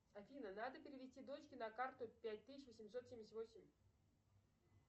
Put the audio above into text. афина надо перевести дочке на карту пять тысяч восемьсот семьдесят восемь